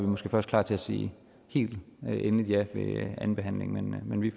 måske først klar til at sige helt endeligt ja ved andenbehandlingen men vi